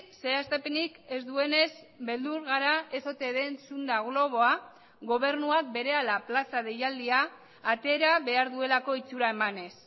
zehaztapenik ez duenez beldur gara ez ote den zunda globoa gobernuak berehala plaza deialdia atera behar duelako itxura emanez